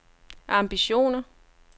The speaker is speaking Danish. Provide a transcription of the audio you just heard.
ambitioner